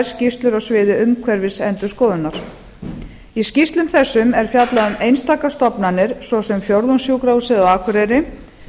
skýrslur á sviði umhverfisendurskoðunar í skýrslum þessum er fjallað um einstakar stofnanir svo sem fjórðungssjúkrahúsið á akureyri